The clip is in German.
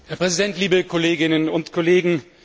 Herr Präsident, liebe Kolleginnen und Kollegen!